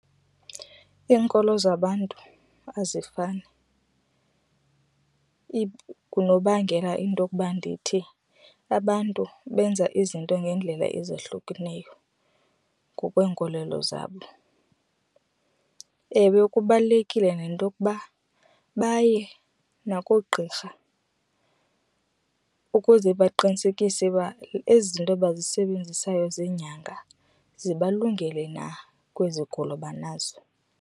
Iinkolo zabantu azifani, ngunokubangela into okuba ndithi abantu benza izinto ngeendlela ezahlukeneyo ngokwenkolelo zabo. Ewe, kubalulekile nento okuba baye nakoogqirha ukuze baqinisekise uba ezi zinto bazisebenzisayo zeenyanga zibalungele na kwezigulo banazo.